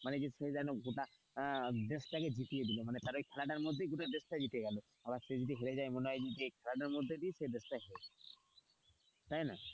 মানে সে যেন গোটা দেশটাকে জিতিয়ে দিল মানে খেলার মধ্যেই গোটা দেশটা জিতে গেল আবার সে যদি হেরে যায় মনে হয় যে খেলার মধ্যে দিয়ে দেশটা হেরে গেল তাই না,